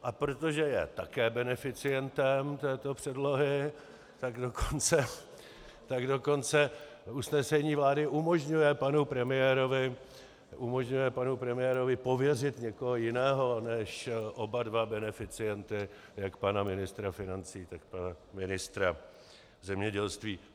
A protože je také beneficientem této předlohy, tak dokonce usnesení vlády umožňuje panu premiérovi pověřit někoho jiného než oba dva beneficienty, jak pana ministra financí, tak pana ministra zemědělství.